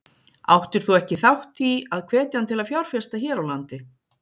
Áttir þú ekki þátt í að hvetja hann til að fjárfesta hér á landi?